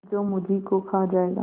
जो मुझी को खा जायगा